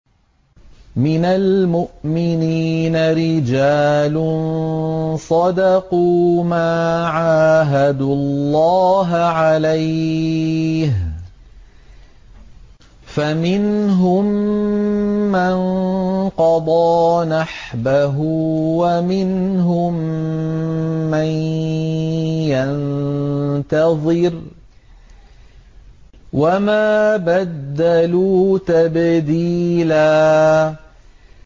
مِّنَ الْمُؤْمِنِينَ رِجَالٌ صَدَقُوا مَا عَاهَدُوا اللَّهَ عَلَيْهِ ۖ فَمِنْهُم مَّن قَضَىٰ نَحْبَهُ وَمِنْهُم مَّن يَنتَظِرُ ۖ وَمَا بَدَّلُوا تَبْدِيلًا